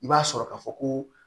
I b'a sɔrɔ ka fɔ ko